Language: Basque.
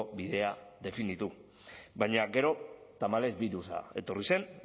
bidea definitu baina gero tamalez birusa etorri zen